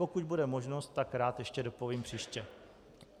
Pokud bude možnost, tak rád ještě dopovím příště.